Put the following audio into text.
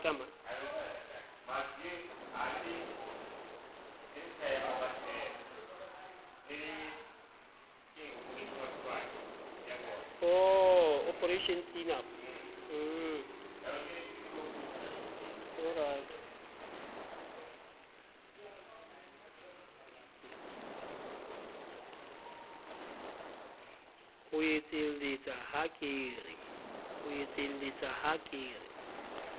o etselletsa ha ke re